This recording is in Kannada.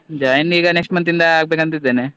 Join ಈಗ next month ಇಂದ ಆಗ್ಬೇಕಂತ ಇದ್ದೇನೆ.